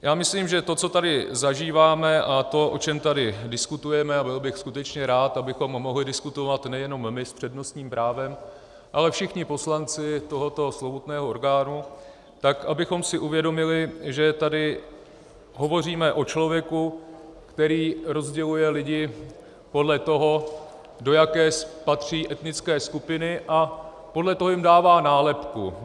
Já myslím, že to, co tady zažíváme, a to, o čem tady diskutujeme, a byl bych skutečně rád, abychom mohli diskutovat nejenom my s přednostním právem, ale všichni poslanci tohoto slovutného orgánu, tak abychom si uvědomili, že tady hovoříme o člověku, který rozděluje lidi podle toho, do jaké patří etnické skupiny, a podle toho jim dává nálepku.